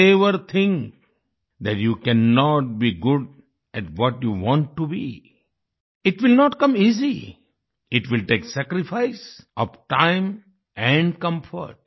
never think that you cannot be good at what you want to be it will not come easy it will take sacrifice of time and comfort